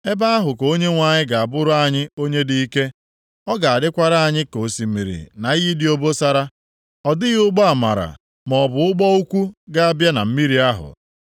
Ebe ahụ ka Onyenwe anyị ga-abụrụ anyị Onye dị ike. Ọ ga-adịkwara anyị ka osimiri na iyi dị obosara. Ọ dịghị ụgbọ amara maọbụ ụgbọ ukwu ga-abịa na mmiri ahụ.